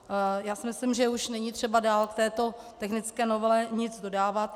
Já si myslím, že už není třeba dál k této technické novele nic dodávat.